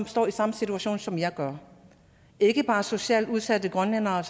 står i samme situation som jeg gjorde ikke bare socialt udsatte grønlændere